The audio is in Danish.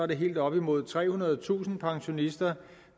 det helt op imod trehundredetusind pensionister